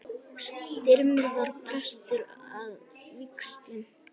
Styrmir var prestur að vígslu.